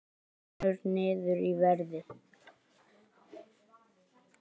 Hrynur niður í verði